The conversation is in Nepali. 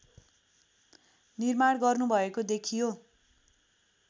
निर्माण गर्नुभएको देखियो